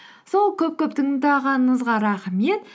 сол көп көп тыңдағаныңызға рахмет